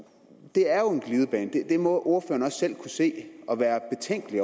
det er jo en glidebane det må ordføreren også selv kunne se og være betænkelig